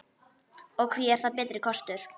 Og hví er það betri kostur?